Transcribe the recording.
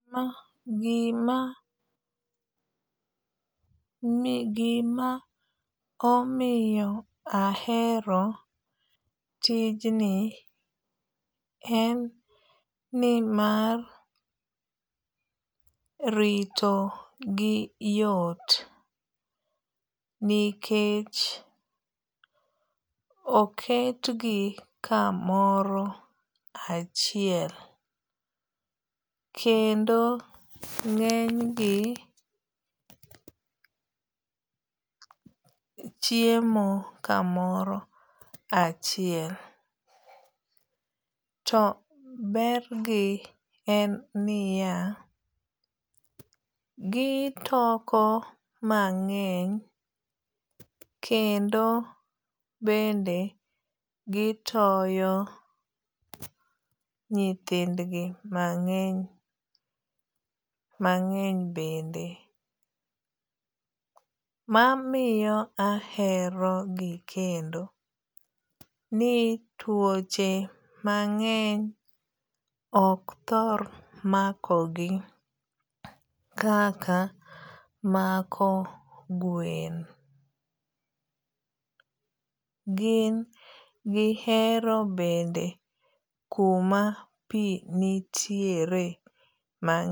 Gima ni gima omiyo ahero tijni en nimar rito gi yot nikech oket gi kamoro achiel. Kendo ng'eny gi chiemo kamoro achiel. To ber gi en niya, gitoko mang'eny kendo bende gitoyo nyithind gi mang'eny mang'eny bende. Mamiyo ahero gi kendo ni tuoche mang'eny ok thor mako gi kaka mako gwen. Gin gihero bende kuma pi nitiere ma.